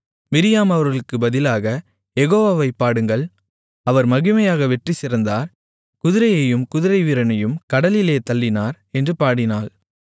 Miriam அவர்களுக்குப் பதிலாக யெகோவாவைப் பாடுங்கள் அவர் மகிமையாக வெற்றிசிறந்தார் குதிரையையும் குதிரைவீரனையும் கடலிலே தள்ளினார் என்று பாடினாள்